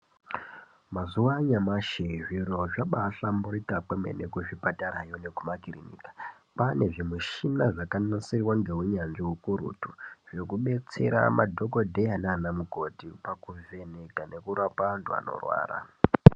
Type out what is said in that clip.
Mazuwa anyamashi zviro zvabahlamburika kwemene kuzvipatarayo nekumakiriniki kwane zvimishina zvakanasirwa ngeunyanzvi ukurutu zvekubetsera madhokodheya nanamukoti pakuvheneka nekurapa antu anorwara.